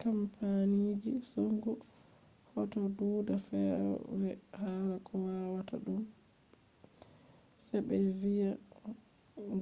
kampaniji hosugo hoto do duda fewre hala ko watata dum se be viya